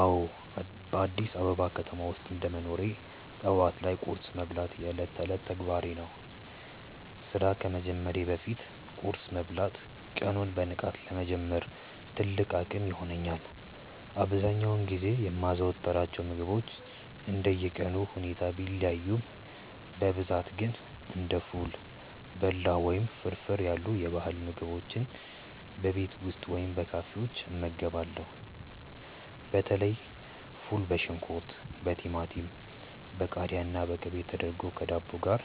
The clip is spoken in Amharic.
አዎ፣ በአዲስ አበባ ከተማ ውስጥ እንደ መኖሬ ጠዋት ላይ ቁርስ መብላት የዕለት ተዕለት ተግባሬ ነው። ስራ ከመጀመሬ በፊት ቁርስ መብላት ቀኑን በንቃት ለመጀመር ትልቅ አቅም ይሆነኛል። አብዛኛውን ጊዜ የማዘወትራቸው ምግቦች እንደየቀኑ ሁኔታ ቢለያዩም፣ በብዛት ግን እንደ ፉል፣ በላው ወይም ፍርፍር ያሉ የባህል ምግቦችን በቤት ውስጥ ወይም በካፌዎች እመገባለሁ። በተለይ ፉል በሽንኩርት፣ በቲማቲም፣ በቃሪያና በቅቤ ተደርጎ ከዳቦ ጋር